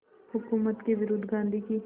हुकूमत के विरुद्ध गांधी की